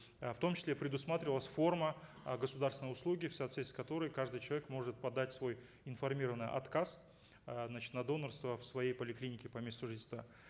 э в том числе предусматривалась форма э государственной услуги в соответствии с которой каждый человек может подать свой информированный отказ э значит на донорство в своей поликлинике по месту жительства